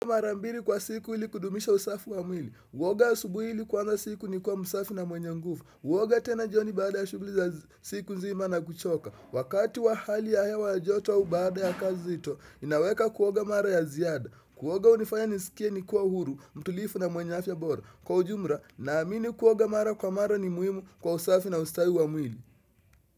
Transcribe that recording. Mara mbili kwa siku ili kudumisha usafi wa mwili. Kuoga asubuhi ili kuanza siku nikiwa msafi na mwenye nguvu. Kuoga tena jioni baada ya shughuli za siku nzima na kuchoka. Wakati wa hali ya hewa ya joto au baada ya kazi nzito, ninaweka kuoga mara ya ziada. Kuoga hunifanya nisikie nikiwa huru, mtulivu na mwenye afya bora. Kwa ujumla, naamini kuoga mara kwa mara ni muhimu kwa usafi na ustawi wa mwili.